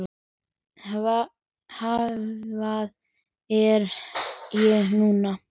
Hvað er ég núna?